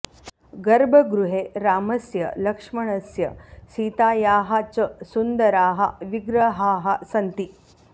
गर्भगृहे रामस्य लक्ष्मणस्य सीतायाः च सुन्दराः विग्रहाः सन्ति